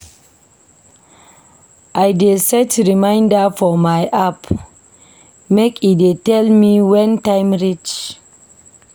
I dey set reminder for my app make e dey tell me wen time reach.